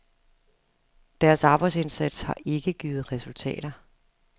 Deres arbejdsindsats har ikke givet resultater.